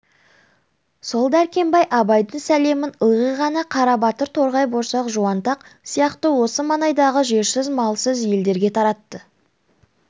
сол дәркембай абайдың сәлемін ылғи ғана қарабатыр торғай борсақ жуантаяқ сияқты осы маңайдағы жерсіз малсыз елдерге таратты